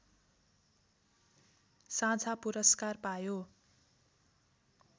साझा पुरस्कार पायो